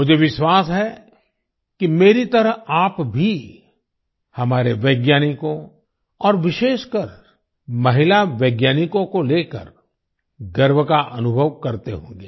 मुझे विश्वास है कि मेरी तरह आप भी हमारे वैज्ञानिकों और विशेषकर महिला वैज्ञानिकों को लेकर गर्व का अनुभव करते होंगे